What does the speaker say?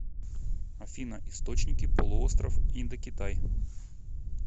афина источники полуостров индокитай